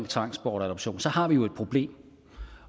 tvangsbortadoption så har vi jo et problem